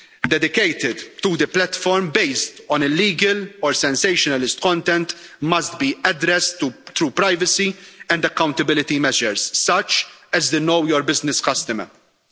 dedicated to the platform based on illegal or sensationalist content, must be addressed through privacy and accountability measures such as the Know Your Business Customer' principle.